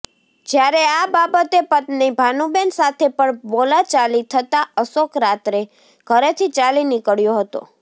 જ્યારે આ બાબતે પત્ની ભાનુબેન સાથે પણ બોલાચાલી થતાં અશોક રાત્રે ઘરેથી ચાલી નીકળ્યો હતો